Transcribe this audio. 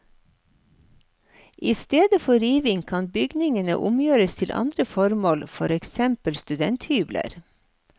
I stedet for riving kan bygningene omgjøres til andre formål, for eksempel studenthybler.